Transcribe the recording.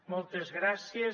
moltes gràcies